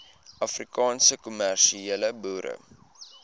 afrikaanse kommersiële boere